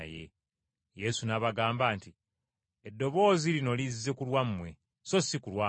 Yesu n’abagamba nti, “Eddoboozi lino lizze ku lwammwe, so si ku lwange.